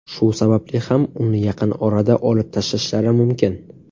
Shu sababli ham uni yaqin orada olib tashlashlari mumkin.